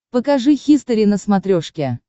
покажи хистори на смотрешке